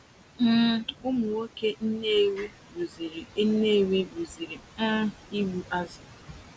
um Ụmụ nwoke Nnewi rụziri Nnewi rụziri um ụgbụ azụ̀.